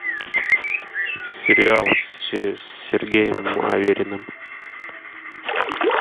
сериал с сергеем авериным